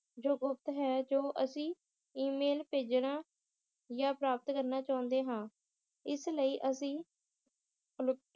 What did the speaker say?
ਜੋ ਗੁਪਤ ਹੈ ਜੋ ਅਸੀ ਈ-ਮੇਲ ਭੇਜਣਾ ਯਾ ਪ੍ਰਾਪਤ ਕਰਨਾ ਚਾਉਂਦੇ ਹਾਂ ਇਸ ਲਈ ਅਸੀ ਪਲੁਪਤ~